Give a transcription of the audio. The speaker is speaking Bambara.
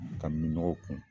Ka minɔgɔw kun